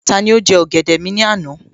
Tani ó jẹ́ ọ̀gẹ̀dẹ̀ mi ní àná?